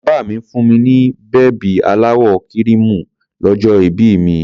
Bàbá mi fún mi ní bèbí aláwọ̀ kíríìmù lọ́jọ́ ìbí mi.